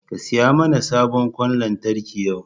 Ka saya mana sabon ƙwan lantarki yau!